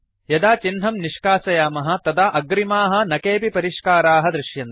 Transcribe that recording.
यदा चिह्नं निष्कासयामः तदा अग्रिमाः न केऽपि परिष्काराः दृश्यन्ते